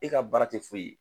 E ka baara tɛ foyi ye.